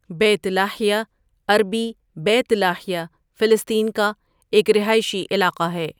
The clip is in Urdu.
بیت لاہیا عربی بیت لاهیا فلسطین کا ایک رہائشی علاقہ ہے.